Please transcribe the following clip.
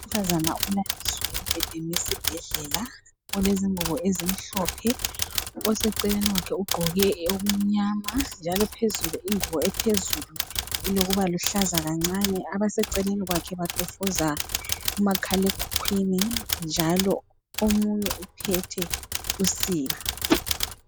Unkazana ulaliswe embhedeni wesibhedlela olezingubo ezimhlophe. Oseceleni kwakhe ugqoke okumnyama njalo phezulu ingubo ephezulu ilokuba luhlaza kancane. Abaseceleni kwakhe batofoza umakhalekhukhwini njalo omunye uphethe usiba.